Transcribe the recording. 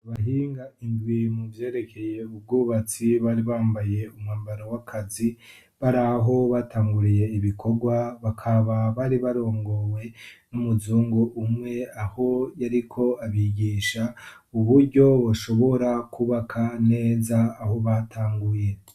Abahinga indwi mu vyerekeye ubwubatsi, bari bambaye umwambaro w'akazi, bari aho batanguriye ibikorwa, bakaba bari barongowe n'umuzungu umwe, aho yariko abigisha, uburyo boshobora kwubaka neza aho batanguye.